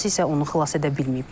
Atası isə onu xilas edə bilməyib.